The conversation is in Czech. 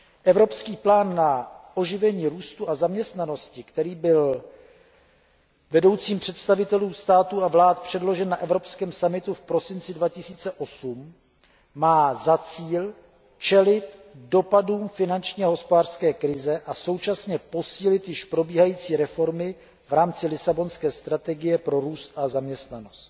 Evropský plán na oživení růstu a zaměstnanosti, který byl vedoucím představitelům států a vlád předložen na evropském summitu v prosinci 2008, má za cíl čelit dopadům finanční a hospodářské krize a současně posílit již probíhající reformy v rámci Lisabonské strategie pro růst a zaměstnanost.